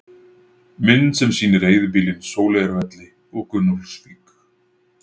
Mynd sem sýnir eyðibýlin Sóleyjarvelli og Gunnólfsvík.